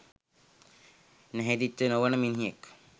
නැහැදිච්ච නොවෙන මිනිහෙක්